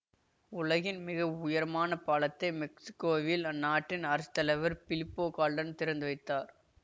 உலகின் மிக உயரமான பாலத்தை மெக்சிக்கோவில் அந்நாட்டின் அரஸ்த்தலைவர் பிலிப்போ கால்டன் திறந்து வைத்தார்